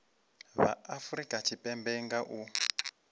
vha afurika tshipembe nga u